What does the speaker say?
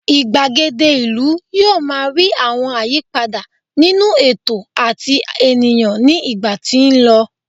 igbagede ìlú yíò ma ri àwọn àyípadà nínú ètò ati ènìyàn ní ìgbà tí n lọ